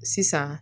Sisan